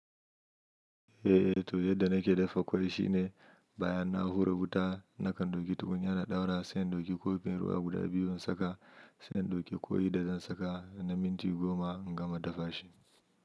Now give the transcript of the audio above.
Eh, to yadda nake dafa ƙwai shine bayan na hura wuta nakan ɗauki tukunyar na ɗaura sai in ɗauki kofin ruwa guda biyu in saka sai in ɗauki ƙoyi da zan saka na minti goma in gama dafa shi.